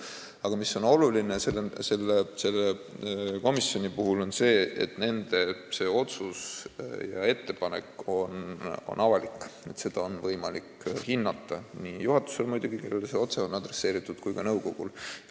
Aga selle komisjoni puhul on oluline see, et nende otsused ja ettepanekud on avalikud, neid on võimalik hinnata muidugi juhatusel, kellele need on otse suunatud, ja ka nõukogul.